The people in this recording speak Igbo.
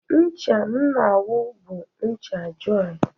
Ncha m na-awụ bụ ncha jọị.